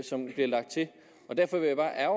herre